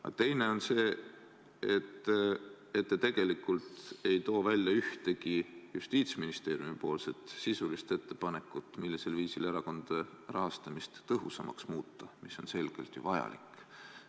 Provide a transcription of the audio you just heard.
Aga teiseks, te tegelikult ei too ühtegi Justiitsministeeriumi sisulist ettepanekut, millisel viisil erakondade rahastamist tõhusamaks muuta, mis on selgelt ju vajalik.